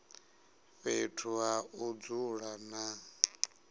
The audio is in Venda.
fhethu ha u dzula na